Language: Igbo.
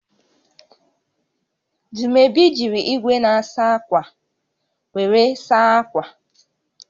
Dumebi jiri igwe na-asa akwa were saa akwa